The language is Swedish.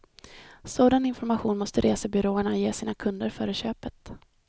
Sådan information måste resebyråerna ge sina kunder före köpet.